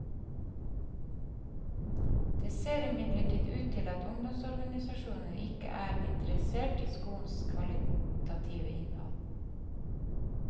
Det ser imidlertid ut til at ungdomsorganisasjonene ikke er interessert i skolens kvalitative innhold.